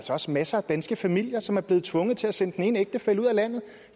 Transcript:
også masser af danske familier som er blevet tvunget til at sende den ene ægtefælle ud af landet